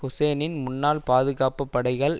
ஹூசேனின் முன்னாள் பாதுகாப்பு படைகள்